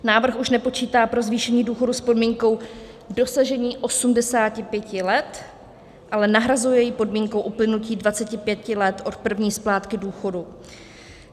Návrh už nepočítá pro zvýšení důchodu s podmínkou dosažení 85 let, ale nahrazuje ji podmínkou uplynutí 25 let od první splátky důchodu.